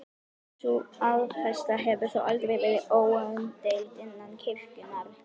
Sú afstaða hefur þó aldrei verið óumdeild innan kirkjunnar.